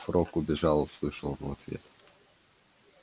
фрог убежал услышал он в ответ